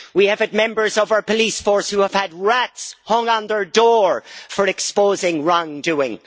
We have had members of our police force who have had rats hung on their door for exposing wrongdoing.